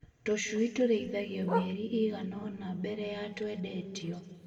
Tũcui tũrĩithagio mĩeri ĩigana ũna mbere ya twendetio.